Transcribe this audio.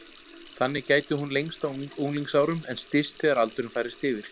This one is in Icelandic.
Þannig gæti hún lengst á unglingsárum en styst þegar aldurinn færist yfir.